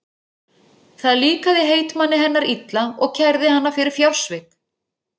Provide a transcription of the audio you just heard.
Það líkaði heitmanni hennar illa og kærði hana fyrir fjársvik.